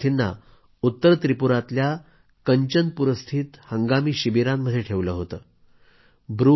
या शरणार्थींना उत्तर त्रिपुरातल्या कंचनपूरस्थित हंगामी शिबिरांमध्ये ठेवलं होतं